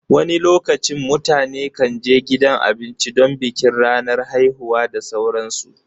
wani lokacin mutane kan je gidan abinci don bikin ranar haihuwa da sauransu